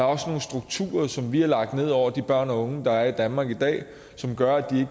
også nogle strukturer som vi har lagt ned over de børn og unge der er i danmark i dag som gør at de